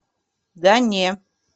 да не